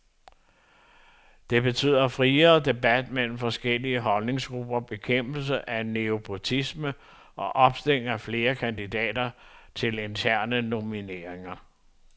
Det betyder friere debat mellem forskellige holdningsgrupper, bekæmpelse af nepotisme og opstilling af flere kandidater til interne nomineringer.